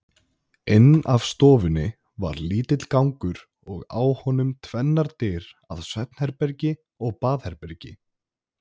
Inn af stofunni var lítill gangur og á honum tvennar dyr að svefnherbergi og baðherbergi.